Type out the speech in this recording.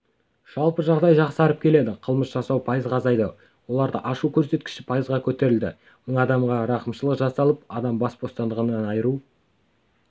жалпы жағдай жақсарып келеді қылмыс жасау пайызға азайды оларды ашу көрсеткіші пайызға көтерілді мың адамға рақымшылық жасалып адам бас бостандығынан айыру